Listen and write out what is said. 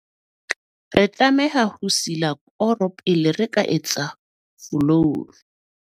re tlameha ho sila koro pele re ka etsa folouru